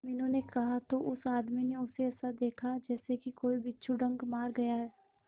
मीनू ने कहा तो उस आदमी ने उसे ऐसा देखा जैसे कि कोई बिच्छू डंक मार गया है